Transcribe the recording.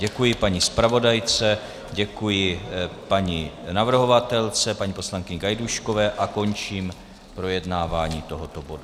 Děkuji paní zpravodajce, děkuji paní navrhovatelce paní poslankyni Gajdůškové a končím projednávání tohoto bodu.